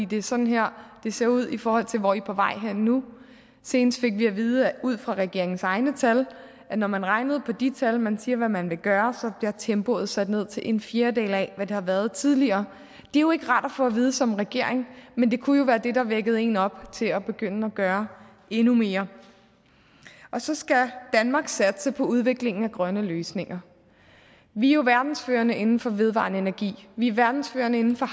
det er sådan her det ser ud i forhold til hvor i er på vej hen nu senest fik vi at vide ud fra regeringens egne tal at når man regnede på de tal man siger man vil gøre så bliver tempoet sat ned til en fjerdedel af hvad det har været tidligere det er jo ikke rart at få vide som regering men det kunne jo være det der vækkede en op til at begynde at gøre endnu mere så skal danmark satse på udviklingen af grønne løsninger vi er jo verdensførende inden for vedvarende energi vi er verdensførende inden for